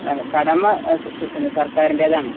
ആ കടമ ആ സ സ പിന്നെ സർക്കാരിന്റേതാണേ.